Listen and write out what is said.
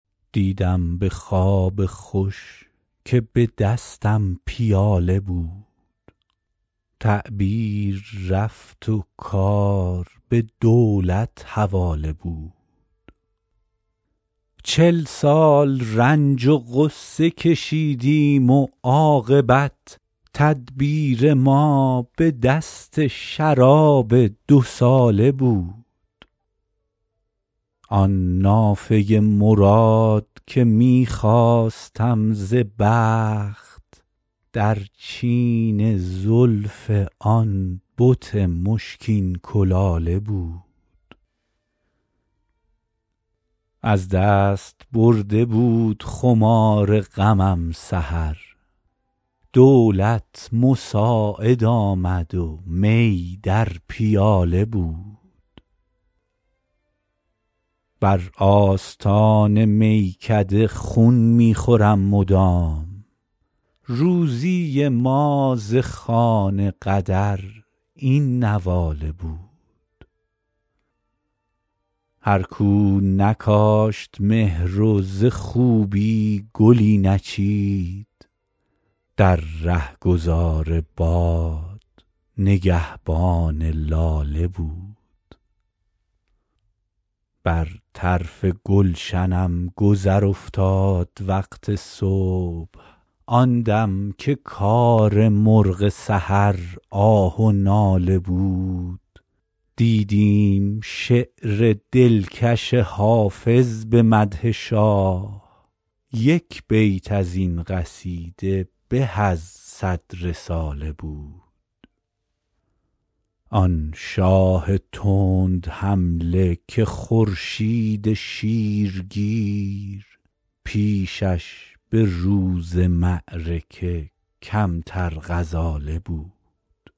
دیدم به خواب خوش که به دستم پیاله بود تعبیر رفت و کار به دولت حواله بود چل سال رنج و غصه کشیدیم و عاقبت تدبیر ما به دست شراب دوساله بود آن نافه مراد که می خواستم ز بخت در چین زلف آن بت مشکین کلاله بود از دست برده بود خمار غمم سحر دولت مساعد آمد و می در پیاله بود بر آستان میکده خون می خورم مدام روزی ما ز خوان قدر این نواله بود هر کو نکاشت مهر و ز خوبی گلی نچید در رهگذار باد نگهبان لاله بود بر طرف گلشنم گذر افتاد وقت صبح آن دم که کار مرغ سحر آه و ناله بود دیدیم شعر دلکش حافظ به مدح شاه یک بیت از این قصیده به از صد رساله بود آن شاه تندحمله که خورشید شیرگیر پیشش به روز معرکه کمتر غزاله بود